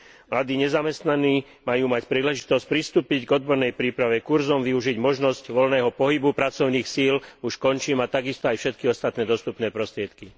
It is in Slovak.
Mladí nezamestnaní majú mať príležitosť pristúpiť k odbornej príprave, kurzom, využiť možnosť voľného pohybu pracovných síl a takisto aj všetky ostatné dostupné prostriedky.